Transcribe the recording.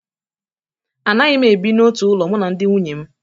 Anaghị m ebi n'otu ụlọ mụ na ndị nwunye m